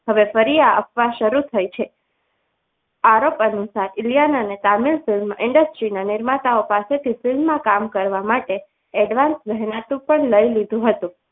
હવે ફરી આ અફવા શરૂ થઈ છે આરોપ અનુસાર ઇલિયાના ને તામિલ film industry નિર્માતાઓ પાસેથી film માં કામ કરવા માટે advance મહેનતાણું પણ લઈ લીધું હતું.